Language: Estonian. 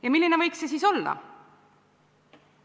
Ja milline võiks see siis olla?